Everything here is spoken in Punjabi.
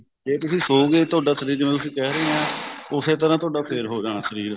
ਜੇ ਤੁਸੀਂ ਸੋਯੋਗੇ ਤੁਹਾਡਾ ਸ਼ਰੀਰ ਜਿਵੇਂ ਤੁਸੀਂ ਕਹਿ ਰਹੇ ਹੋ ਉਸੇ ਤਰ੍ਹਾਂ ਤੁਹਾਡਾ ਫੇਰ ਹੋ ਜਾਣਾ ਸ਼ਰੀਰ